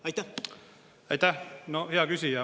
Aitäh, hea küsija!